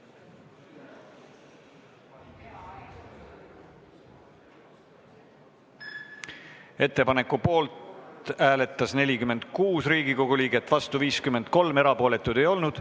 Hääletustulemused Ettepaneku poolt hääletas 46 Riigikogu liiget, vastu 53, erapooletuid ei olnud.